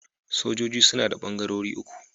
Sojoji suna da ɓangarori uku.